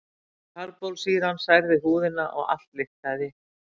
Karbólsýran særði húðina og allt lyktaði.